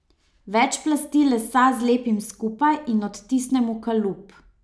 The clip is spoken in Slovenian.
Več plasti lesa zlepim skupaj in odtisnem v kalup.